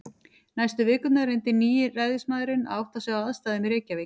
Næstu vikurnar reyndi nýi ræðismaðurinn að átta sig á aðstæðum í Reykjavík.